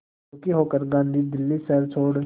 दुखी होकर गांधी दिल्ली शहर छोड़